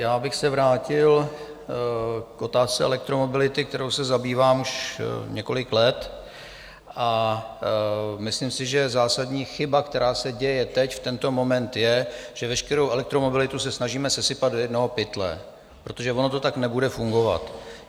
Já bych se vrátil k otázce elektromobility, kterou se zabývám už několik let, a myslím si, že zásadní chyba, která se děje teď v tento moment, je, že veškerou elektromobilitu se snažíme sesypat do jednoho pytle, protože ono to tak nebude fungovat.